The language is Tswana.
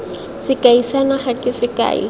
sekai sa naga ke sekai